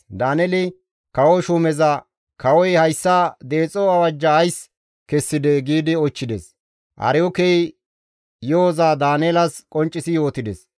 Daaneeli kawo shuumeza, «Kawoy hayssa deexo awajja ays kessidee?» giidi oychchides; Aryookey yo7oza Daaneelas qonccisi yootides.